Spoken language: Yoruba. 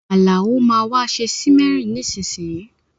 Àlàó máa wa se simmering nisínsìnyìí